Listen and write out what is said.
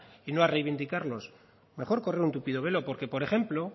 y no a reivindicarlos mejor correr un tupido velo porque por ejemplo